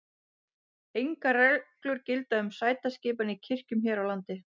engar reglur gilda um sætaskipan í kirkjum hér á landi